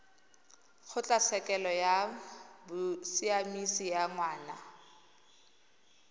kgotlatshekelo ya bosiamisi ya ngwana